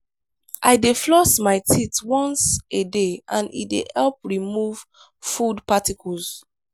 i dey floss my teeth once a day and e dey help remove food particles.